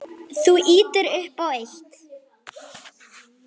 Þú ýtir upp á eitt.